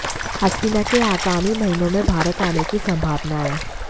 हसीना के आगामी महीनों में भारत आने की संभावना है